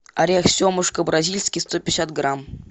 орех семушка бразильский сто пятьдесят грамм